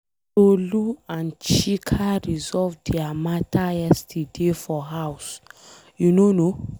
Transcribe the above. Tolu and Chika resolve their matter yesterday for house. You no know?